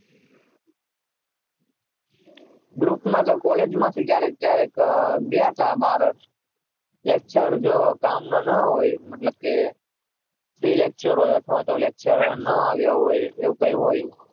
group માંથી તો college માં થી ગયા હતા બહાર lecture કામ નું ના હોય મતલબ free lecture હોય અથવા તો lecturer ના હોય એવું કઈ હોય